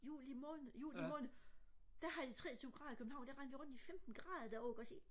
juli måned juli måned der havde de treogtyve grader i København der rendte jeg rundt i femten grader derovre ikke også ikke